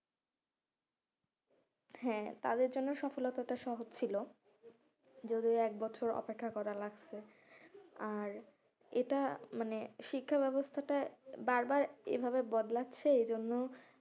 হ্যাঁ তাদের জন্য সফলতাটা সহজ ছিল যদি এক বছর অপেক্ষা করা লাগছে আর এটা মানে শিক্ষা ব্যবস্থাটা বার বার এই ভাবে বদলাচ্ছে এই জন্য,